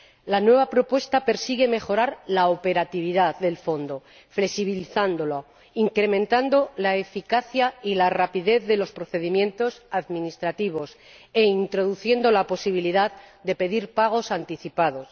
La nueva propuesta persigue mejorar la operatividad del Fondo flexibilizándolo, incrementando la eficacia y la rapidez de los procedimientos administrativos e introduciendo la posibilidad de pedir pagos anticipados.